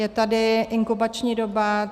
Je tady inkubační doba.